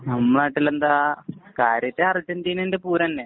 നമ്മടെ നാട്ടിലെന്താ? കാര്യായിട്ട് അര്‍ജന്‍റീനേന്‍റെ പൂരം തന്നെ.